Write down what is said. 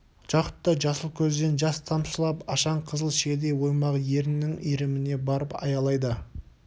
жақұттай жасыл көзден жас тамшылап ашаң қызыл шиедей оймақ еріннің иіріміне барып аялдайды